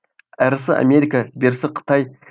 әрісі америка берісі қытай